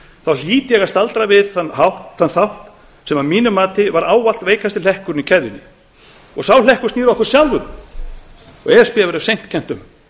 okkar hlýt ég að staldra við þann þátt sem að mínu mati var ávallt veikasti hlekkurinn í keðjunni sá hlekkur snýr að okkur sjálfum og e s b verður seint kennt um